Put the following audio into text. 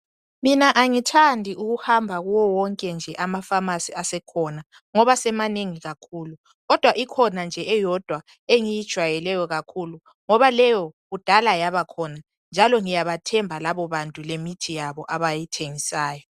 Mina angithandi ukuhamba kuwo wonke nje amapharmacy asekhona ngoba semanengi kakhulu, kodwa ikhona nje eyodwa engiyijwayeleyo kakhulu ngoba leyo kudala yaba khona njalo ngiyabathemba labo bantu lemithi yabo abayithengisayo.